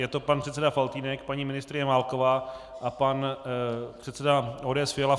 Je to pan předseda Faltýnek, paní ministryně Válková a pan předseda ODS Fiala.